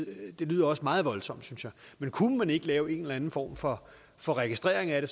det lyder også meget voldsomt synes jeg men kunne man ikke lave en eller anden form for for registrering af